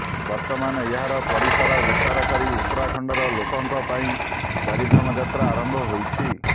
ବର୍ତ୍ତମାନ ଏହାର ପରିସର ବିସ୍ତାର କରି ଉତ୍ତରାଖଣ୍ଡର ଲୋକଙ୍କ ପାଇଁ ଚାରିଧାମ ଯାତ୍ରା ଆରମ୍ଭ ହୋଇଛି